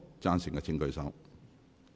贊成的請舉手。